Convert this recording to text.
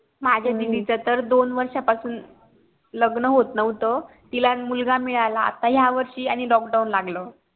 माझ्या दिदी च तर दोन वर्षा पासुन लग्न होत नव्हतं तिला मुलगा मिळाला आता या वर्षी आणि lockdown लागलं.